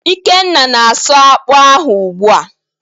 Ikenna na-asụ akpụ ahụ ugbua